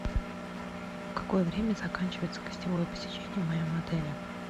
в какое время заканчивается гостевое посещение в моем отеле